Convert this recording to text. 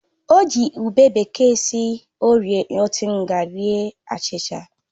O ji ube bekee si orie ntigha rie achịcha